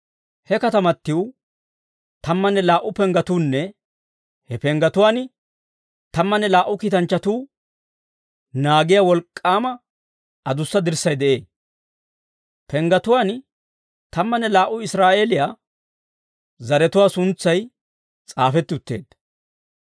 He katamatiw tammanne laa"u penggetuunne he penggetuwaan tammanne laa"u kiitanchchatuu naagiyaa wolk'k'aama adussa dirssay de'ee. Penggetuwaan tammanne laa"u Israa'eeliyaa zaratuwaa suntsay s'aafetti utteedda.